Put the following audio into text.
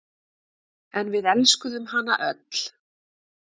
En við elskuðum hana öll.